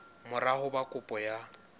mora ho ba kopo ya